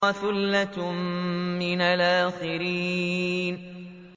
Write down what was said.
وَثُلَّةٌ مِّنَ الْآخِرِينَ